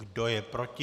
Kdo je proti?